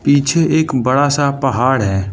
पीछे एक बड़ा सा पहाड़ है।